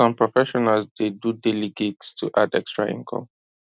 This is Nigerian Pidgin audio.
some professionals dey do daily gigs to add extra income